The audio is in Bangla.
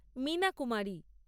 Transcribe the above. মিনা কুমারী